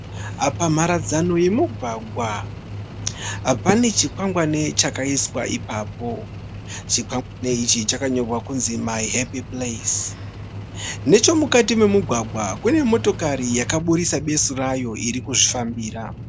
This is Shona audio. Pamharadzano yemugwagwa pane chikwangwane chakaiswa ipapo. Chikwangwane ichi chakanyorwa kunzi My happy place. Nechomukati mumugwagwa kune motokari yakaburitsa besu rayo iri kuzvifambira.